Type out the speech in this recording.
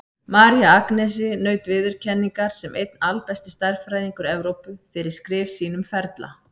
María Agnesi naut viðurkenningar sem einn albesti stærðfræðingur Evrópu, fyrir skrif sín um ferla.